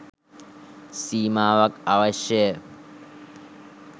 සීමාවක් අවශ්‍ය ය.